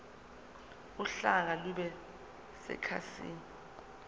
uhlaka lube sekhasini